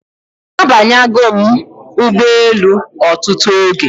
Abanya go m Ugbo elu otutu oge